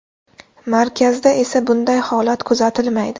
Markazda esa bunday holat kuzatilmaydi.